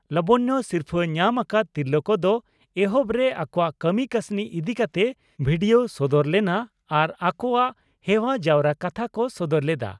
ᱞᱚᱵᱚᱱᱭᱚ ᱥᱤᱨᱯᱷᱟᱹ ᱧᱟᱢ ᱟᱠᱟᱫ ᱛᱤᱨᱞᱟᱹ ᱠᱚᱫᱚ ᱮᱦᱚᱵᱨᱮ ᱟᱠᱚᱣᱟᱜ ᱠᱟᱹᱢᱤ ᱠᱟᱹᱥᱱᱤ ᱤᱫᱤ ᱠᱟᱛᱮ ᱵᱷᱤᱰᱤᱭᱚ ᱥᱚᱫᱚᱨ ᱞᱮᱱᱟ ᱟᱨ ᱟᱠᱚᱣᱟᱜ ᱦᱮᱣᱟ ᱡᱟᱣᱨᱟ ᱠᱟᱛᱷᱟ ᱠᱚ ᱥᱚᱫᱚᱨ ᱞᱮᱫᱼᱟ ᱾